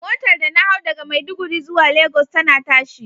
Motar da na hau daga Maiduguri zuwa lagos tana tashi.